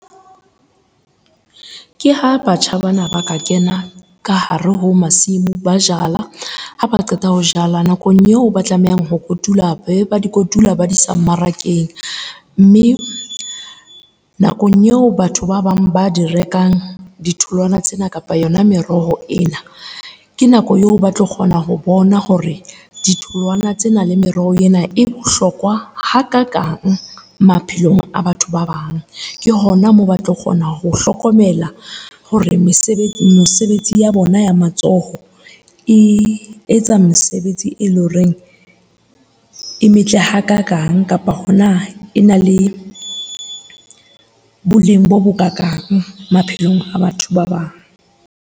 Ke ha batjha bana ba ka kena ka hare ho masimo ba jala. Ha ba qeta ho jala nakong eo ba tlamehang ho kotula, be ba di kotula ba di isa marakeng. Mme nakong eo batho ba bang ba di rekang ditholwana tsena kapa yona meroho ena, ke nako eo ba tlo kgona ho bona hore ditholwana tsena le meroho ena e bohlokwa hakakang maphelong a batho ba bang. Ke hona moo ba tlo kgona ho hlokomela hore mesebetsi ya bona ya matsoho e etsa mesebetsi e leng horeng e metle hakakang, kapa hona e na le boleng bo bokakang maphelong a batho ba bang.